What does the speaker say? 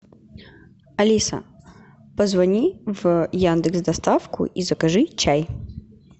алиса позвони в яндекс доставку и закажи чай